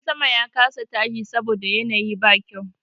Jirgin sama ya kasa tashi saboda yanayi bai kyau.